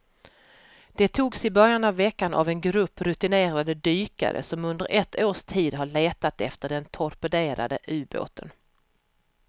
De togs i början av veckan av en grupp rutinerade dykare som under ett års tid har letat efter den torpederade ubåten.